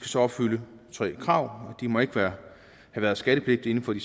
så opfylde tre krav de må ikke have været skattepligtige inden for de